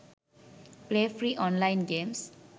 play free online games